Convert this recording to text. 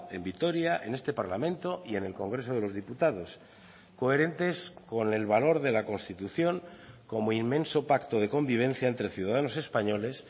en vitoria en este parlamento y en el congreso de los diputados coherentes con el valor de la constitución como inmenso pacto de convivencia entre ciudadanos españoles